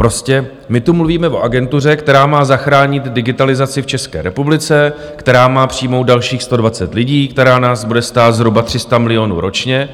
Prostě my tu mluvíme o agentuře, která má zachránit digitalizaci v České republice, která má přijmout dalších 120 lidí, která nás bude stát zhruba 300 milionů ročně,